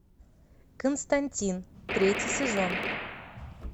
константин третий сезон